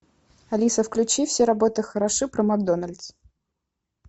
алиса включи все работы хороши про макдональдс